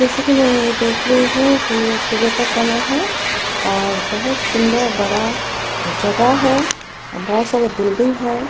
जैसा की मैं ये देख रही हूँ की ये सुबह का समय है और बहोत सुन्दर बड़ा जगह है और बहोत सारे बिल्डिंग है।